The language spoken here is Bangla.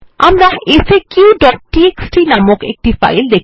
আমরা একটি ফাইল যার নাম faqটিএক্সটি প্রেজেন্ট